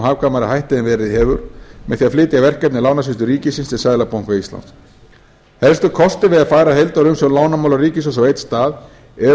hagkvæmari hætti en verið hefur með því að flytja verkefni lánasýslu ríkisins til seðlabanka íslands helstu kostir við að færa heildarumsjón lánamála ríkissjóðs á einn stað eru